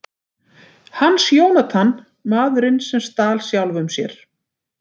Hans Jónatan: Maðurinn sem stal sjálfum sér.